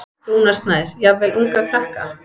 Rúnar Snær: Jafnvel unga krakka?